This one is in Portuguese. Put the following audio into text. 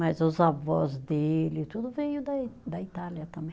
Mas os avós dele, tudo veio da i, da Itália também.